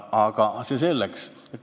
Aga see selleks.